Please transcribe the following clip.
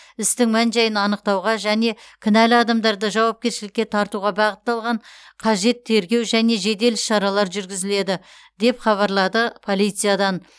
істің мән жайын анықтауға және кінәлі адамдарды жауапкершілікке тартуға бағытталған қажет тергеу және жедел іс шаралар жүргізіледі деп хабарлады полициядан